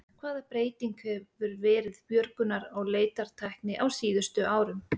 Hvaða breyting hefur verið björgunar- og leitartækni á síðustu árum?